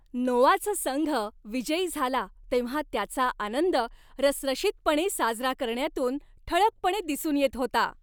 नोआचा संघ विजयी झाला तेव्हा त्याचा आनंद रसरशीतपणे साजरा करण्यातून ठळकपणे दिसून येत होता.